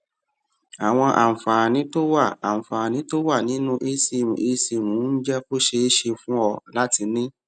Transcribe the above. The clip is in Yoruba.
àwọn àǹfààní tó wà àǹfààní tó wà nínú esim esim ń jé kó ṣeé ṣe fún ọ láti ní